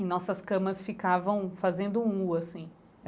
E nossas camas ficavam fazendo um u assim.